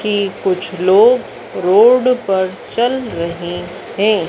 की कुछ लोग रोड पर चल रहे हैं।